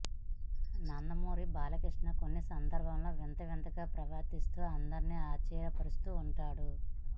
నందమూరి బాలకృష్ణ కొన్ని సందర్బాల్లో వింత వింతగా ప్రవర్తిస్తూ అందరిని ఆశ్చర్య పర్చుతూ ఉంటాడు